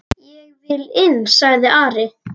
Ég vil inn, sagði Ari.